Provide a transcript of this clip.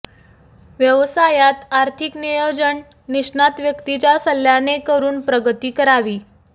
व्यवसायात आर्थिक नियोजन निष्णात व्यक्तीच्या सल्ल्याने करून प्रगती करावी